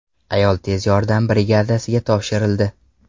Ayol tez yordam brigadasiga topshirildi.